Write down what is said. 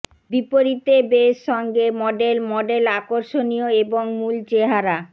বিপরীতে বেস সঙ্গে model model আকর্ষণীয় এবং মূল চেহারা